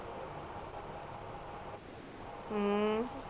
ਅਮ